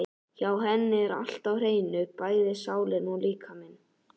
Hjá henni er allt á hreinu, bæði sálin og líkaminn.